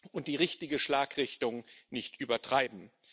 und die richtige Schlagrichtung nicht übertreiben.